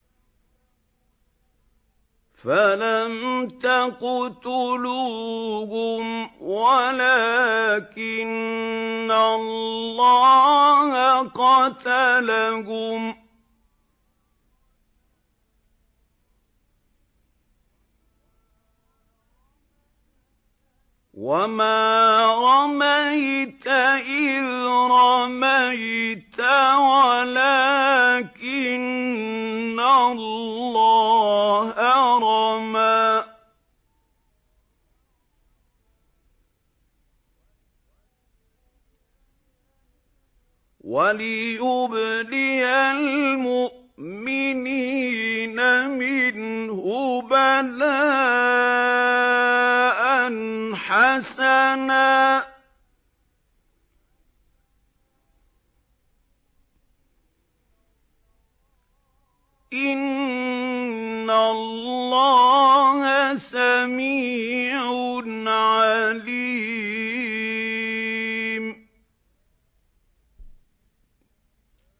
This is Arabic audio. فَلَمْ تَقْتُلُوهُمْ وَلَٰكِنَّ اللَّهَ قَتَلَهُمْ ۚ وَمَا رَمَيْتَ إِذْ رَمَيْتَ وَلَٰكِنَّ اللَّهَ رَمَىٰ ۚ وَلِيُبْلِيَ الْمُؤْمِنِينَ مِنْهُ بَلَاءً حَسَنًا ۚ إِنَّ اللَّهَ سَمِيعٌ عَلِيمٌ